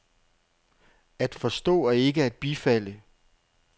At forstå er ikke at bifalde.